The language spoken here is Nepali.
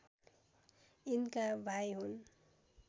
यिनका भाइ हुन्